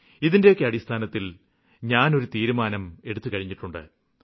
ഇതിന്റെയൊക്കെ അടിസ്ഥാനത്തില് ഞാന് ഒരു തീരുമാനം എടുത്തു കഴിഞ്ഞിട്ടുണ്ട്